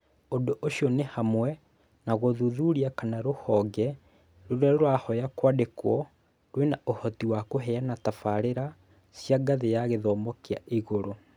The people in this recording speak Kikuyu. Ũndũ ũcio nĩ hamwe na gũthuthuria kana rũhonge rũrĩa rũrahoya kwandĩkwo rwĩna ũhoti wa kũheana tabarĩra cia ngathĩ ya gĩthomo kĩa igũrũ.